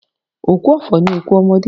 Òkú ọ̀fọ̀ ni òkú ọmọdé.